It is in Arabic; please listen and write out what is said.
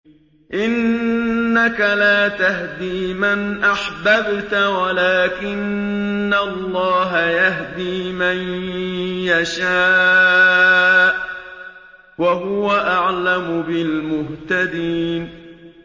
إِنَّكَ لَا تَهْدِي مَنْ أَحْبَبْتَ وَلَٰكِنَّ اللَّهَ يَهْدِي مَن يَشَاءُ ۚ وَهُوَ أَعْلَمُ بِالْمُهْتَدِينَ